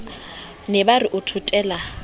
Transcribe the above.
ne ba re o thothela